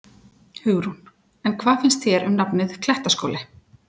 Hugrún: En hvað finnst þér um nafnið, Klettaskóli?